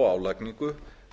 og álagningu